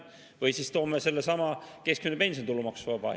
Või siis toome selle, et keskmine pension on tulumaksuvaba.